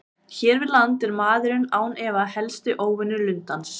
Hér við land er maðurinn án efa helsti óvinur lundans.